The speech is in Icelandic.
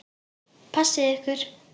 Passið ykkur.